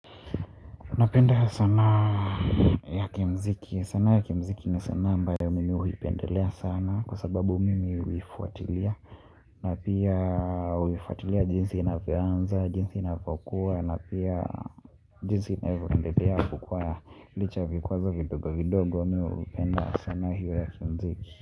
Napenda sanaa ya kimuziki. Sanaa ya kimuziki ni sanaa ambayo mimi huipendelea sana kwa sababu mimi huifuatilia. Na pia huifuatilia jinsi inavyoanza, jinsi inavyokuwa, na pia jinsi inavyoendelea kukua licha ya vikwazo vidogo vidogo. Hupenda sanaa hiyo ya kimuziki.